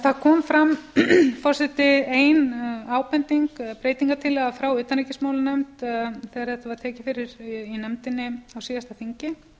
það kom fram ein ábending breytingartillaga frá utanríkismálanefnd þegar þetta var tekið fyrir í nefndinni á síðasta þingi